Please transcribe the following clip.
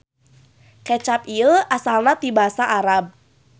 Kecap ieu asalna ti Basa Arab.